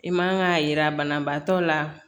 I man ka yira banabaatɔ la